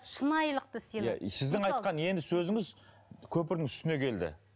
шынайылықты сыйлады сіздің айтқан енді сөзіңіз көпірдің үстіне келді